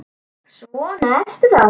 Svona ertu þá!